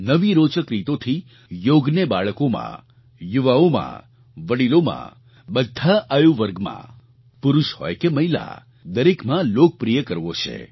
નવી રોચક રીતોથી યોગને બાળકોમાં યુવાઓમાં વડીલોમાં બધા આયુવર્ગમાં પુરુષ હોય કે મહિલા દરેકમાં લોકપ્રિય કરવો છે